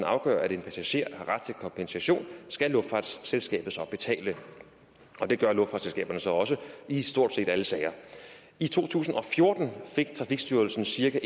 afgør at en passager har ret til kompensation skal luftfartsselskabet betale og det gør luftfartsselskaberne så også i stort set alle sager i to tusind og fjorten fik trafikstyrelsen cirka